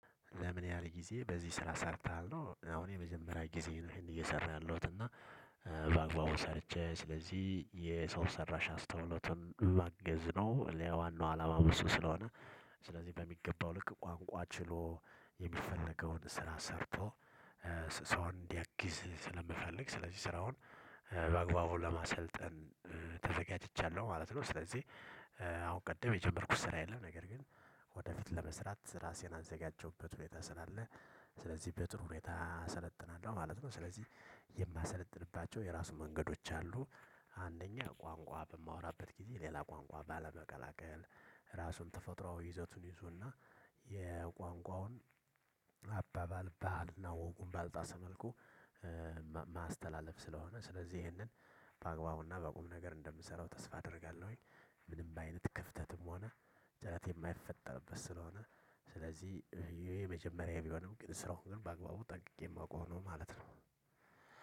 ለምን ያህል ጊዜ በዚህ ስራ ሰርተሃል ነው? አሁን የመጀመሪያ ጊዜዬ ነው። ይሄን እየሰራሁ ያለውት እና በአግባቡ ሰርቼ ስለዚህ የሰው ሰራሽ አስተውሎቱን ላግዝ ነው ዋናው አላማው እሱ ስለሆነ። ስለዚህ በሚገባው ልክ ቋንቋ ችሎ የሚፈለገውን ስራ ሰርቶ ሰው እንዲያግዝ ስለምፈልግ ስለዚህ ስራውን በአግባቡ ለማሰልጠን ተዘጋጅቻለሁ ማለት ነው። ስለዚህ አሁን ቅድም የጀመርኩት ስራ የለም ነገር ግን ወደፊት ለመስራት ራሴን አዘጋጃውበት ሁኔታ ስላለ። ስለዚህ በጥሩ ሁኔታ እሰለጥናለሁ ማለት ነው። ስለዚህ የማሰለጥንባቸው የራሱ መንገዶች አሉ። አንደኛ ቋንቋ በማወራበት ጊዜ ሌላ ቋንቋ ባለመቀላቀል ራሱን ተፈጥሮአዊ ይዘቱን ይዞና የቋንቋውን አባባል ባህልና ወጉን ባልጣሰ መልኩ። ማስተላለፍ ስለሆነ ስለዚህ ይሄንን በአግባቡና በቁም ነገር እንደምሰራው ተስፋ አደርጋለሁኝ። ምንም በአይነት ክፍተትም ሆነ ጭረት የማይፈጠርበት ስለሆነ። ስለዚህ ይሄ የመጀመሪያዬ ቢሆንም ግን ስራውን ግን በአግባቡ ጠንቅቄ የማውቀው ነው ማለት ነው።